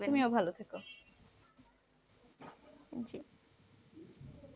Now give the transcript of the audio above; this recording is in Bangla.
তুমিও ভালো থাকো।